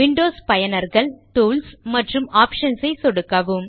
Windows பயனர்கள் tools மற்றும் options ஐ சொடுக்கவும்